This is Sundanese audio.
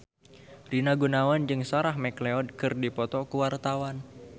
Rina Gunawan jeung Sarah McLeod keur dipoto ku wartawan